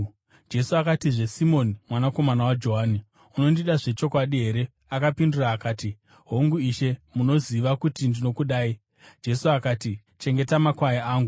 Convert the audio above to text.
Jesu akatizve, “Simoni, mwanakomana waJohani unondida zvechokwadi here?” Akapindura akati, “Hongu, Ishe, munoziva kuti ndinokudai.” Jesu akati, “Chengeta makwai angu.”